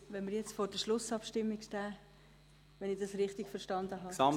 Wenn wir jetzt vor der Schlussabstimmung stehen, falls ich das richtig verstanden habe …